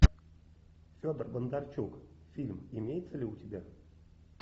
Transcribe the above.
федор бондарчук фильм имеется ли у тебя